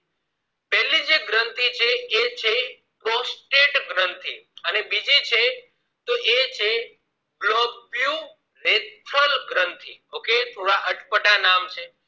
પેલી જે ગ્રંથી છે એ છે prostate ગ્રંથી અને બીજી છે ગ્રન્થિ okay થોડા અટપટા નામ છે